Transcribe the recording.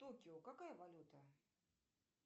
токио какая валюта